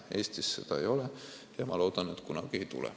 Eestis seda ei ole ja ma loodan, et kunagi ei tule.